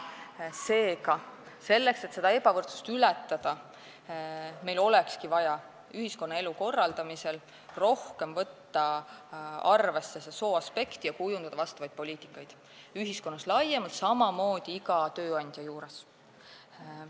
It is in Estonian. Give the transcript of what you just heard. Seega, selleks, et seda ebavõrdsust ületada, olekski meil vaja ühiskonnaelu korraldamisel võtta rohkem arvesse sooaspekte ja kujundada vastavaid poliitikaid ühiskonnas laiemalt, aga samamoodi iga tööandja juures.